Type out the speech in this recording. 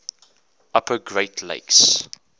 upper great lakes